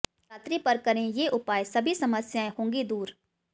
शिवरात्रि पर करें ये उपाय सभी समस्याएं होगी दूर